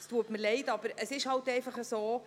Es tut mir leid, es ist halt einfach so.